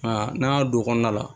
Nka n'an y'a don kɔnɔna la